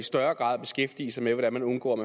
større grad beskæftige sig med hvordan man undgår